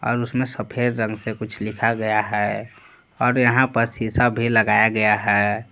और उसमें सफेद रंग से कुछ लिखा गया है और यहां पर शिशा भी लगाया गया है।